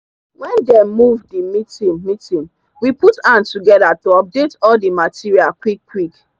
when them move the meeting meeting we put hand together to update all the material quick quick